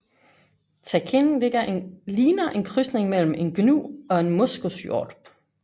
Takin ligner en krydsning mellem en gnu og en moskushjort